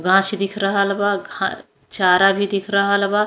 गाच्छ दिख रहल बा। घा चारा भी दिख रहल बा।